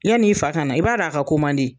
Yann'i fa ka na i b'a dɔn a ka ko man di.